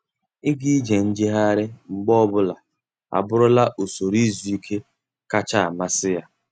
Ịga ije njegharị mgbe ọbụla abụrụla usoro izu ike kachasị amasị ya.